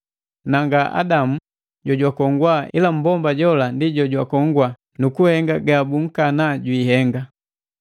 Na nga Adamu jojwakongwa ila mmbomba jola ndi jojwakongwa nukuhenga gabunkana jwiihenga.